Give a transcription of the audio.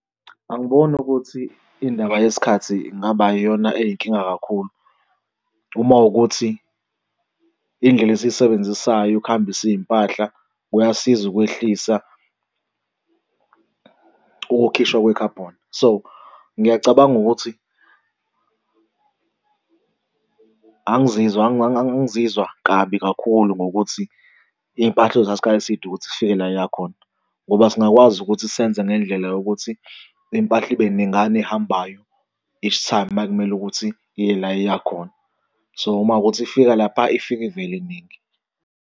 Angiboni ukuthi indaba yesikhathi ingaba iyona eyinkinga kakhulu uma wukuthi iy'ndlela esiyisebenzisayo ukuhambisa iy'mpahla kuyasiza ukwehlisa ukukhishwa kwe-carbon. So, ngiyacabanga ukuthi angizizwa angizizwa kabi kakhulu ngokuthi iy'mpahla zothatha iskhathi eside ukuthi zifike la eya khona, ngoba singakwazi ukuthi senze ngendlela yokuthi impahla ibe ningana ehambayo each time uma kumele ukuthi iye la eyakhona. So uma kuwukuthi ifika lapha ifika ivele iningi.